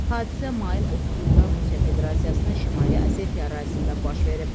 Hadisə mayın 30-da Rusiya Federasiyasının Şimali Osetiya ərazisində baş verib.